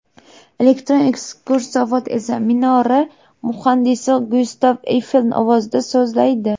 Elektron ekskursovod esa minora muhandisi Gyustav Eyfel ovozida so‘zlaydi.